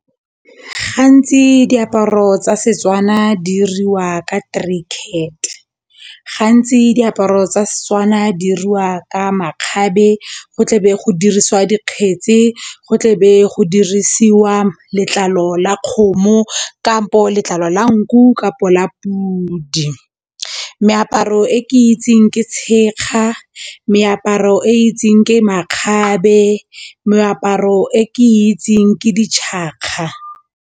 Gantsi diaparo tsa Setswana diriwa ka , gantsi diaparo tsa Setswana di diriwa ka makgabe go tlebe go dirisiwa dikgetse go tlebe go dirisiwa letlalo la kgomo kampo letlalo la nku kapo la pudi. Meaparo e ke itseng ke tshekga, meaparo e itseng ke makgabe, meaparo e ke itseng ke .